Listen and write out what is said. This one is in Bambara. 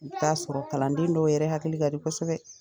I bi taa sɔrɔ kalanden dɔw yɛrɛ hakili ka di kosɛbɛ.